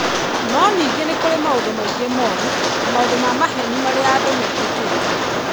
No ningĩ nĩ kũrĩ maũndũ maingĩ moru na maũndũ ma maheeni marĩa andũ metĩkĩtie.